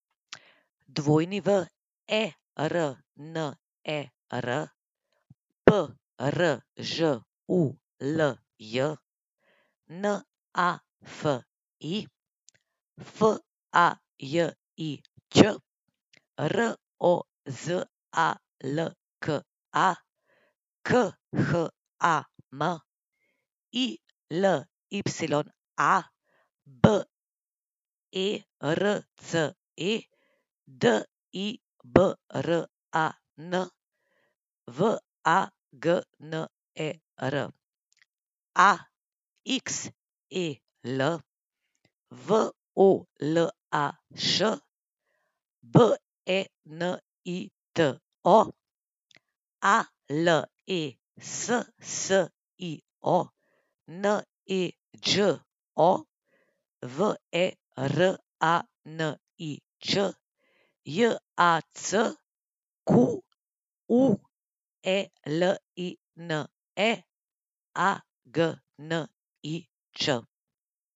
W E R N E R, P R Ž U L J; N A F I, F A J I Ć; R O Z A L K A, K H A M; I L Y A, B E R C E; D I B R A N, V A G N E R; A X E L, V O L A Š; B E N I T O, A L E S S I O; N E Đ O, V E R A N I Č; J A C Q U E L I N E, A G N I Č.